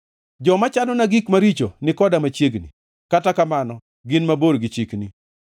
Joma chanona gik maricho ni koda machiegni, kata kamano gin mabor gi chikni.